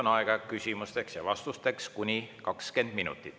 Nüüd on küsimusteks ja vastusteks aega kuni 20 minutit.